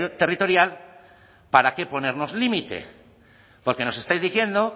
territorial para que ponernos límite porque nos estáis diciendo